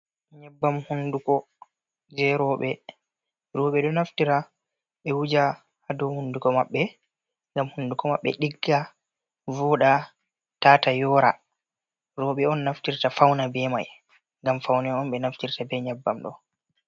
Nyebbam hunduko, jei rowɓe. Rowɓe ɗo naftira ɓe wuja ha dou hunduko maɓɓe, ngam hunduko maɓɓe ɗigga, vooɗa, tata yora. Rowɓe on naftirta fauna be mai. Ngam faune on ɓe naftirta ɓe nyabbam ɗo.